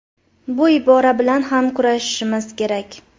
Bu ibora bilan ham kurashishimiz kerak.